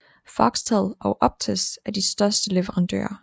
Foxtel og Optus er de største leverandører